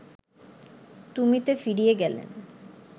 তুমিতে ফিরে গেলেন